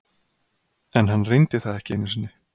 En hann reyndi það ekki einu sinni.